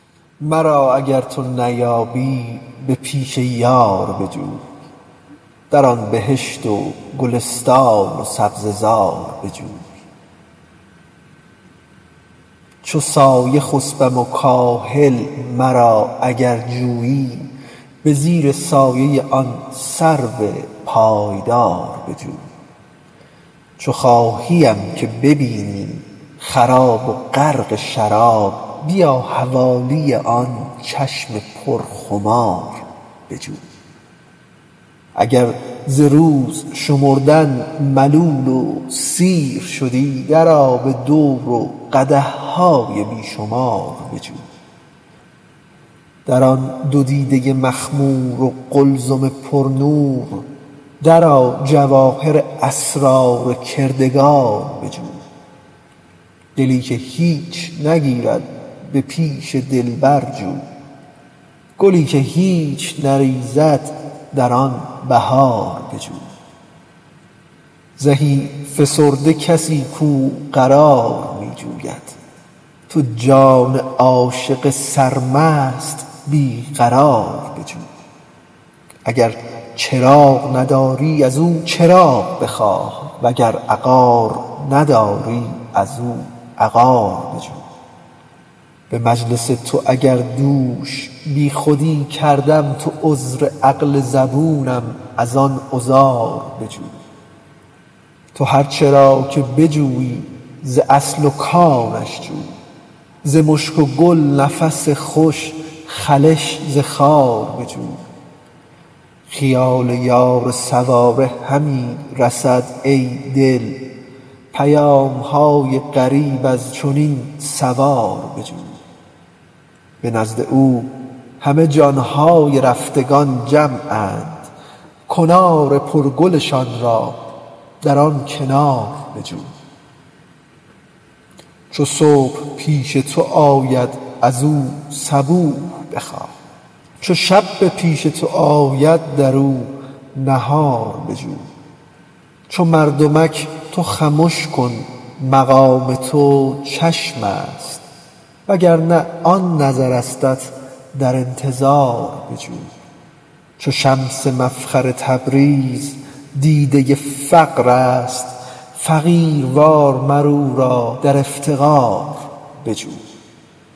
مرا اگر تو نیابی به پیش یار بجو در آن بهشت و گلستان و سبزه زار بجو چو سایه خسپم و کاهل مرا اگر جویی به زیر سایه آن سرو پایدار بجو چو خواهیم که ببینی خراب و غرق شراب بیا حوالی آن چشم پرخمار بجو اگر ز روز شمردن ملول و سیر شدی درآ به دور و قدح های بی شمار بجو در آن دو دیده مخمور و قلزم پرنور درآ جواهر اسرار کردگار بجو دلی که هیچ نگرید به پیش دلبر جو گلی که هیچ نریزد در آن بهار بجو زهی فسرده کسی کو قرار می جوید تو جان عاشق سرمست بی قرار بجو اگر چراغ نداری از او چراغ بخواه وگر عقار نداری از او عقار بجو به مجلس تو اگر دوش بیخودی کردم تو عذر عقل زبونم از آن عذار بجو تو هر چه را که بجویی ز اصل و کانش جوی ز مشک و گل نفس خوش خلش ز خار بجو خیال یار سواره همی رسد ای دل پیام های غریب از چنین سوار بجو به نزد او همه جان های رفتگان جمعند کنار پرگلشان را در آن کنار بجو چو صبح پیش تو آید از او صبوح بخواه چو شب به پیش تو آید در او نهار بجو چو مردمک تو خمش کن مقام تو چشم است وگر نه آن نظرستت در انتظار بجو چو شمس مفخر تبریز دیده فقر است فقیروار مر او را در افتقار بجو